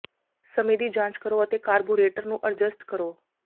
ਸਮੇਂ ਦੀ ਜਾਂਚ ਕਰੋ ਅਤੇ ਕਾਰਬੋਰੇਟਰ ਨੂੰ ਅਡਜੱਸਟ ਕਰੋ